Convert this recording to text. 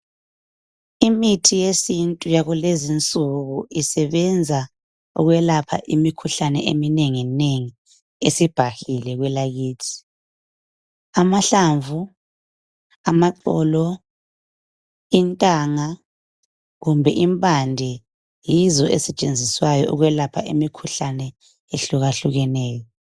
Imithi yesintu yakulezinsuku isebenza ukwelapha imikhuhlane eminengi nengi esibhahile kwelakithi. Amahlamvu ,amaxolo ,intanga kumbe impande yizo ezisetshenziswayo ukwelapha imikhuhlane ehlukahlukeneyo.